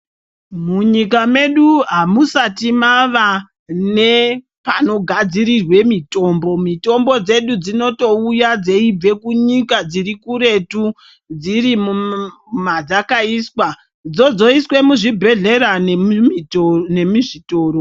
Munyika medu amusati mava nepano gadzirirwe mitombo mitombo dzedu dzinotouya dzeibve kunyika dziri kuretu dziri madzaka iswa dzoiswe mu zvibhedhlera ne mizvitoro.